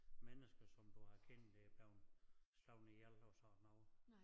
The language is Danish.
Mennesker som du har kendt er blevet slået ihjel og sådan noget